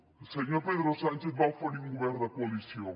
el senyor pedro sánchez va oferir un govern de coalició